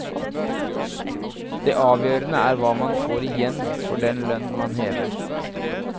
Det avgjørende er hva man får igjen for den lønn man hever.